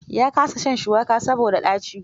Ya kasa shan shuwaka saboda ɗaci.